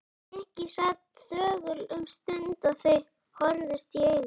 Nikki sat þögull um stund og þau horfðust í augu.